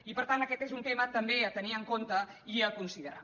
i per tant aquest és un tema també a tenir en compte i a considerar